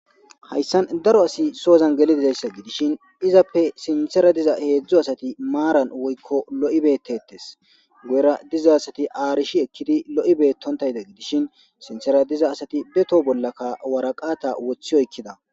Hayssan daro asi soozan geli dizayssa gidishin izappe sintsera diza heedzdzo asati maaran woykko lo'i beettetes guyera diza asati aarishi ekkidi lo'i beettontayda gidishin sinsera diza asati beto bollaka waraqata woththi oykkida.